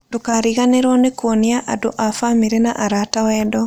Ndũkariganĩrũo nĩ kuonia andũ a famĩrĩ na arata wendo.